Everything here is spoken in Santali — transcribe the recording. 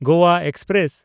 ᱜᱳᱣᱟ ᱮᱠᱥᱯᱨᱮᱥ